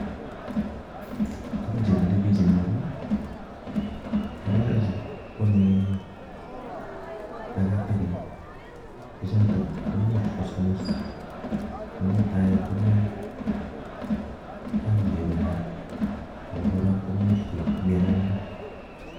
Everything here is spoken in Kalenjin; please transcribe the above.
Tugun che milei bich en yu ko, ng'ororek chu koame takatakek, che chotok komuch kosamis, ne mutai kong'em aliet nywaa. Ago kora, koimuch koib myanwogik